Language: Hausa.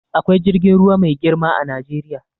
Akwai jirgin ruwa mai girma a Najeriya.